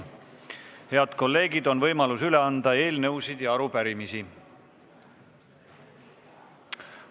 Head kolleegid, on võimalus üle anda eelnõusid ja arupärimisi.